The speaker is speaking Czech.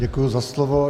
Děkuji za slovo.